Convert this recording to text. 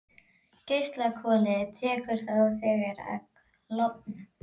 Geislakolið tekur þá þegar að klofna.